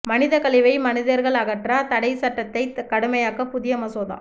மனித கழிவை மனிதர்கள் அகற்ற தடை சட்டத்தை கடுமையாக்க புதிய மசோதா